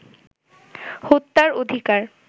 হত্যার অধিকার